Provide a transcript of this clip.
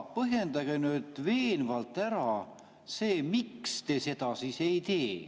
Põhjendage nüüd veenvalt ära, miks te seda ei tee.